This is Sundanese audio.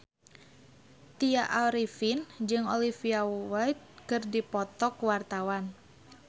Tya Arifin jeung Olivia Wilde keur dipoto ku wartawan